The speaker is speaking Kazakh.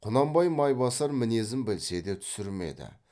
құнанбай майбасар мінезін білсе де түсірмеді